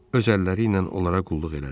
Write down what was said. Öz əlləri ilə onlara qulluq elədi.